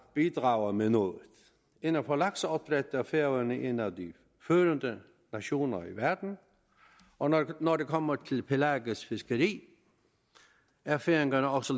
bidrage med noget inden for lakseopdræt er færøerne en af de førende nationer i verden og når det kommer til pelagisk fiskeri er færingerne også